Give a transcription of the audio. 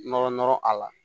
Nɔrɔ nɔrɔ a la